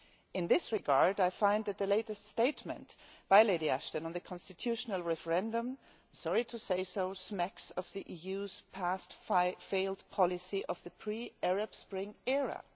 In this regard, I find that the latest statement by Lady Ashton on the constitutional referendum I am sorry to say this smacks of the EU's past failed policy from the pre Arab Spring era.